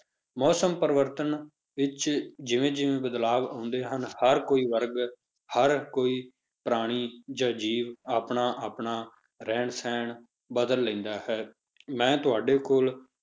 ਮੌਸਮ ਪਰਿਵਰਤਨ ਵਿੱਚ ਜਿਵੇਂ ਜਿਵੇਂ ਬਦਲਾਵ ਆਉਂਦੇ ਹਨ, ਹਰ ਕੋਈ ਵਰਗ ਹਰ ਕੋਈ ਪ੍ਰਾਣੀ ਜਾਂ ਜੀਵ ਆਪਣਾ ਆਪਣਾ ਰਹਿਣ ਸਹਿਣ ਬਦਲ ਲੈਂਦਾ ਹੈ, ਮੈਂ ਤੁਹਾਡੇ ਕੋਲ